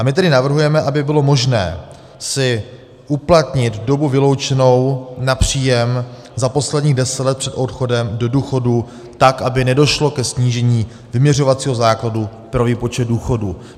A my tedy navrhujeme, aby bylo možné si uplatnit dobu vyloučenou na příjem za posledních deset let před odchodem do důchodu tak, aby nedošlo ke snížení vyměřovacího základu pro výpočet důchodů.